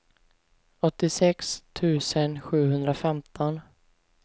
åttiosex tusen sjuhundrafemton